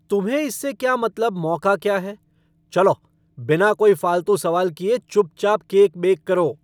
तुम्हें इससे क्या मतलब मौका क्या है, चलो बिना कोई फालतू सवाल किए चुपचाप केक बेक करो।